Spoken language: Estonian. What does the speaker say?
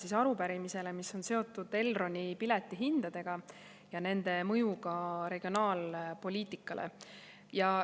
Vastan arupärimisele, mis on seotud Elroni piletihindadega ja nende mõjuga regionaalpoliitikale.